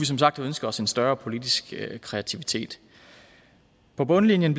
som sagt ønske os en større politisk kreativitet på bundlinjen